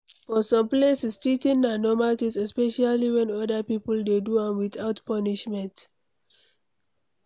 For some places, cheating na normal thing especially when oda people dey do am without punishment